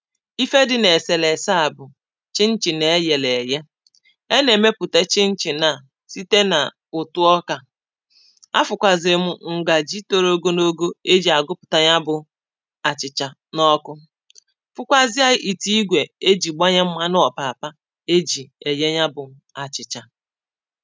ifé dị n’èsèlèse á bụ̀ chinchin é yèlè èyè. E nà-èmepùte chinchin nà site nà ụ̀tụ ọkà. Afụkwàzị̀ m ǹgà ji toro ogonogo e jì àgụpụ̀ta ya bụ̀ àchị̀chà n’ọkụ, fụkwazịà ìtụ igwè e ji gbanye mmanụ ọ̀pàpà é jì èyé ya bụ̇ achị̀chà